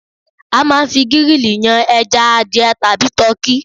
A máa ń fi gírìlì yan ẹja, adìẹ tàbí tọkí